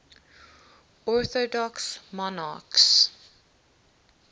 orthodox monarchs